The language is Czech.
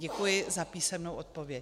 Děkuji za písemnou odpověď.